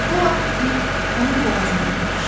Bu vaxt it onun boğazından yapışdı.